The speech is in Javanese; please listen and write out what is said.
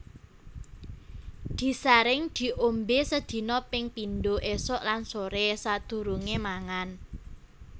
Disaring diombé sedina ping pindho ésuk lan soré sadurungé mangan